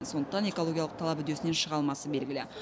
сондықтан экологиялық талап үдесінен шыға алмасы белгілі